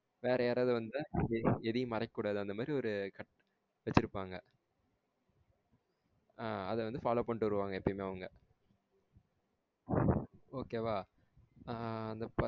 வேற யாரது வந்தா எதையும் மறைக்க கூடாது அந்த மாறி ஒரு வச்சிருபாங்க. ஆஹ்ன் அத வந்து follow பண்ணிட்டு வருவாங்க எப்பயுமே அவங்க okay வா? ஆஹ்ன் அந்த.